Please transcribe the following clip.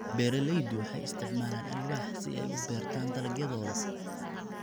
Beeraleydu waxay isticmaalaan alwaax si ay u beertaan dalagyadooda.